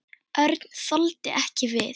Örn þoldi ekki við.